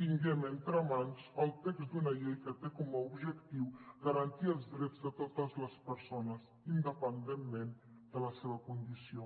tinguem entre mans el text d’una llei que té com a objectiu garantir els drets de totes les persones independentment de la seva condició